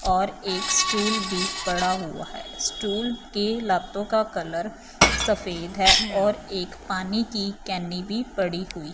और एक स्टूल भी पड़ा हुआ है स्कूल के लातों का कलर सफेद है और एक पानी की केनी भी पड़ी हुई--